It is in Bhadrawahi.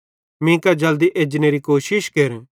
मीं कां जल्दी एजनेरी कोशिश केर